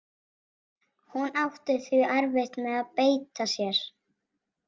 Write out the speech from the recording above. Hún átti því erfitt með að beita sér.